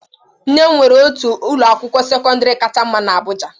Nne m nwere otu ụlọ akwụkwọ sekọndrị kacha mma na abuja.